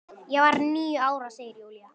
Ég var níu ára, segir Júlía.